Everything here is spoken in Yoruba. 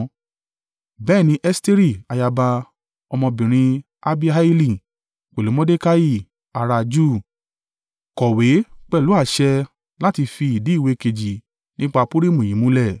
Bẹ́ẹ̀ ni Esteri ayaba, ọmọbìnrin Abihaili, pẹ̀lú Mordekai ará a Júù, kọ̀wé pẹ̀lú àṣẹ láti fi ìdí ìwé kejì nípa Purimu yìí múlẹ̀.